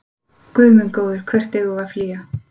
Guð minn góður, hvert eigum við að flýja?